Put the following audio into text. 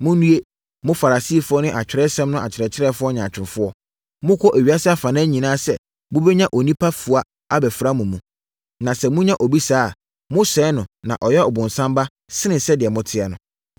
“Monnue! Mo Farisifoɔ ne Atwerɛsɛm no akyerɛkyerɛfoɔ nyaatwomfoɔ! Mokɔ ewiase afanan nyinaa sɛ mobɛnya onipa fua abɛfra mo mu. Na sɛ monya obi saa a, mosɛe no ma ɔyɛ ɔbonsam ba sene sɛdeɛ moteɛ no.